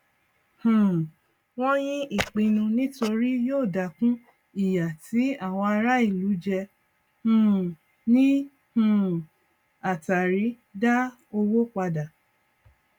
um wọn yín ìpinnu nítorí yóò dákun ìyà tí àwọn ará ìlú jẹ um ní um àtàrí dá owó padà